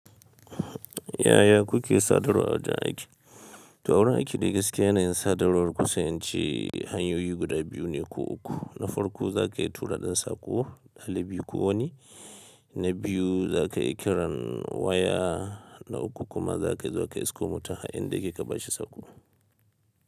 Yaya kuke sadarwa wajen aiki? Tawura aiki da gaske yana yin sadarwar kusanci. Hanyoyi guda biyu ne ko uku. Na farko za ka iya tura ɗan sako, ɗalibi ko wani, na biyu za ka iya kiran waya, na uku kuma za ka iya zuwa ka isko mutum har inda yake ka bashi sako.